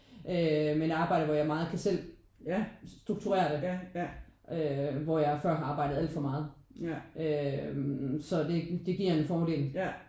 Øh men arbejde hvor jeg meget kan selv strukturere det. Øh hvor jeg før har arbejdet alt for meget øh så det det giver en fordel